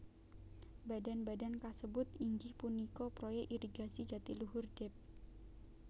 Badan badan kasebut inggih punika Proyek Irigasi Jatiluhur Dep